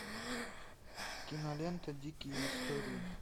кинолента дикие истории